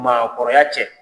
Maakɔrɔya cɛ.